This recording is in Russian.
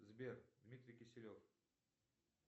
сбер дмитрий киселев